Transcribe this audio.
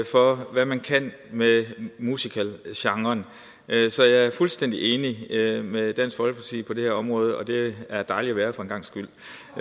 for hvad man kan med musicalgenren så jeg er fuldstændig enig med dansk folkeparti på det her område og det er dejligt at være det for en gangs skyld